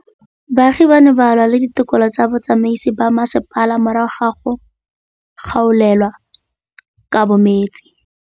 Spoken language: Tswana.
Baagi ba ne ba lwa le ditokolo tsa botsamaisi ba mmasepala morago ga go gaolelwa kabo metsi